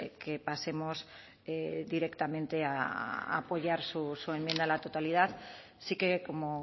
que pasemos directamente a apoyar su enmienda a la totalidad sí que como